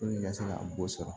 i ka se ka bɔ sɔrɔ